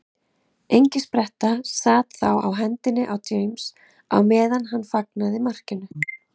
Engispretta sat þá á hendinni á James á meðan hann fagnaði markinu.